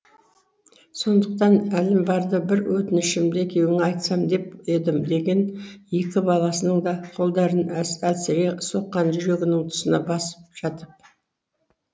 сондықтан әлім барда бір өтінішімді екеуіңе айтсам деп едім деген екі баласының да қолдарын әлсірей соққан жүрегінің тұсына басып жатып